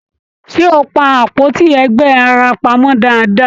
Ṣé o pá àpótí ẹgba ara pamọ dáadáa?